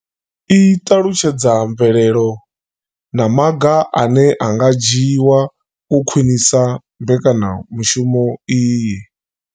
I ṱalutshedza mvelelo na maga ane a nga dzhiwa u khwinisa mbekanyamushumo iyi.